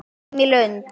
Heim í Lund.